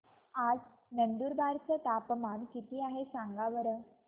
आज नंदुरबार चं तापमान किती आहे सांगा बरं